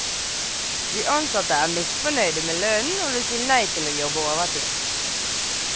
De ansatte er misfornøyde med lønnen og vil si nei til å jobbe overtid.